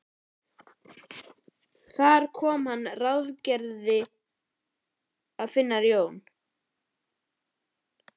Þar kom að hann ráðgerði að finna Jón